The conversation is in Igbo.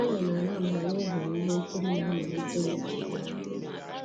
Anyị na-ala mgbe anyị hụrụ ihe nkiri na-amalite n'ogige ahụ